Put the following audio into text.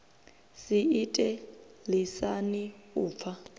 si ite lisani u pfa